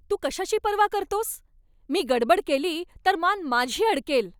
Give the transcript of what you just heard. तू कशाची पर्वा करतोस? मी गडबड केली तर मान माझी अडकेल.